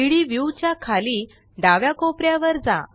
3Dव्यू च्या खाली डाव्या कोपऱ्यावर जा